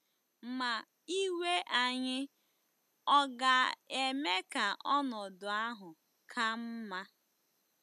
Ma iwe anyị ọ̀ ga-eme ka ọnọdụ ahụ ka mma?